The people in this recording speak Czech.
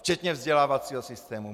Včetně vzdělávacího systému.